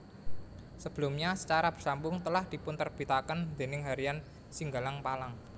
Sebelumnya secara bersambung telah dipunterbitaken déning Harian Singgalang Palang